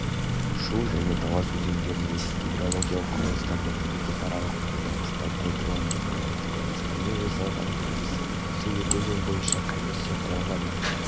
шу және талас өзендеріндегі гидрологиялық құрылыстарды мемлекетаралық қолданыста пайдалану туралы қырғызстанмен жасалған келісім осы екі өзен бойынша комиссия құралғаннан